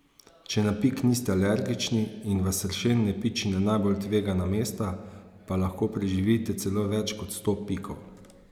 Če na pik niste alergični in vas sršen ne piči na najbolj tvegana mesta, pa lahko preživite celo več kot sto pikov.